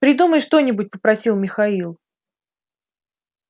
придумай что-нибудь попросил михаил